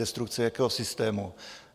Destrukce jakého systému?